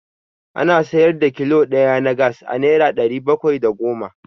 Ana siyar da kilo ɗaya na Gas a Naira ɗari bakwai da goma.